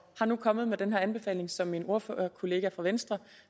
og nu er kommet med den anbefaling som min ordførerkollega fra venstre